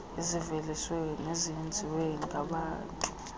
eziveliswe nezenziwe ngababntu